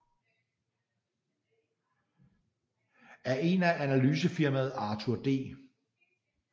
Af en af analysefirmaet Arthur D